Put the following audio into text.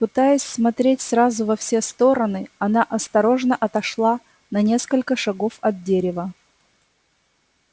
пытаясь смотреть сразу во все стороны она осторожно отошла на несколько шагов от дерева